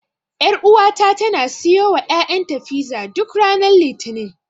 Ƴaruwata tana siyowa ƴaƴanta fiza, duk ranar Litinin.